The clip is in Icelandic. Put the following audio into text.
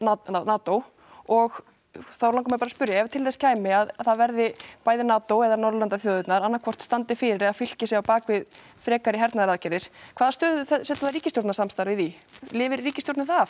NATO og þá langar mig bara að spyrja ef til þess kæmi að það verði bæði NATO eða Norðurlandaþjóðirnar annað hvort standi fyrir eða fylki sér á bak við frekari hernaðaraðgerðir hvaða stöðu setur það ríkisstjórnarsamstarfið í lifir ríkisstjórnin það